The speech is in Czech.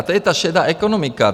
A to je ta šedá ekonomika.